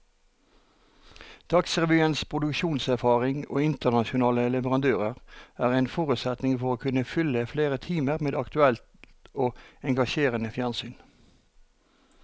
Dagsrevyens produksjonserfaring og internasjonale leverandører er en forutsetning for å kunne fylle flere timer med aktuelt og engasjerende fjernsyn.